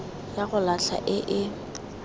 ya go latlha e e